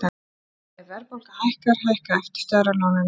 ef verðbólga hækkar hækka eftirstöðvar á láninu mínu